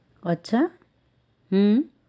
અચ્છા હા